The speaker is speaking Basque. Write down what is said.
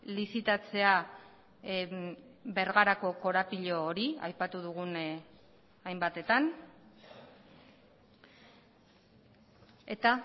lizitatzea bergarako korapilo hori aipatu dugun hainbatetan eta